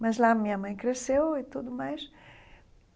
Mas lá a minha mãe cresceu e tudo mais.